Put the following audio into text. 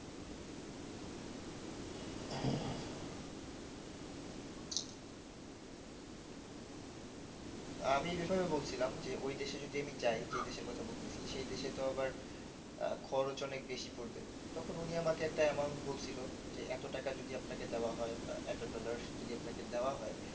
আমি এই বেপারে বলছিলাম যে ওই দেশে যদি আমি যাই যে দেশের কথা বলতেছি সে দেশে তো আবার আহ খরচ অনেক বেশি পড়বে তখন উনি আমাকে একটা amount বলছিল যে এত টাকা যদি আপনাকে দেওয়া হয় বা এত dollars যদি আপনাকে দেওয়া হয়